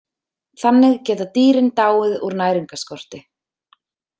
Þannig geta dýrin dáið úr næringarskorti.